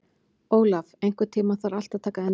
Olaf, einhvern tímann þarf allt að taka enda.